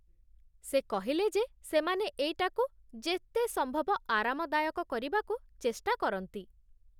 ସେ କହିଲେ ଯେ ସେମାନେ ଏଇଟାକୁ ଯେତେ ସମ୍ଭବ ଆରାମଦାୟକ କରିବାକୁ ଚେଷ୍ଟା କରନ୍ତି ।